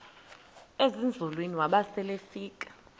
ezinzulwini waba selefika